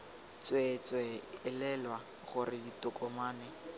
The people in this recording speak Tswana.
tswee tswee elelwa gore ditokomane